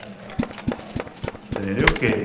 Você entendeu que?